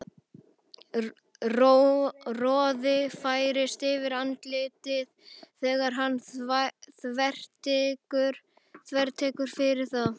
Roði færist yfir andlitið þegar hann þvertekur fyrir það.